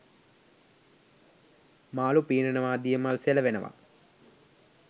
මාළු පීනනවා දිය මල් සෙලවෙනවා